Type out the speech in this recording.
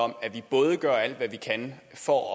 om at vi både gør alt hvad vi kan for